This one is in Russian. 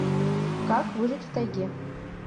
как выжить в тайге